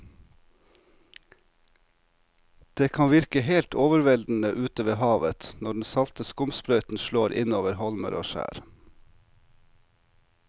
Det kan virke helt overveldende ute ved havet når den salte skumsprøyten slår innover holmer og skjær.